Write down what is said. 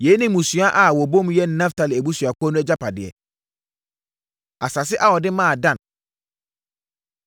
Yei ne mmusua a wɔbɔ mu yɛ Naftali abusuakuo no agyapadeɛ. Asase A Wɔde Maa Dan